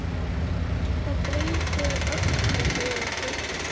Það breytir öllu, segir Birkir.